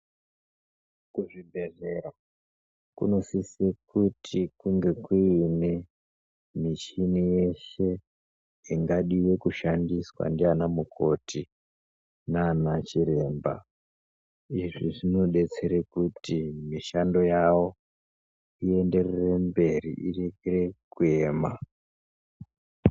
Kuzvibhedhlera kunosise kuti kunge kuine michini yeshe ingadiwe kushandiswe naanamukoti naanachiremba. Izvi zvinodetsera kuti mishando yavo ienderere mberi irekere kuyema.